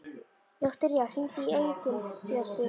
Viktoría, hringdu í Engilbjörtu.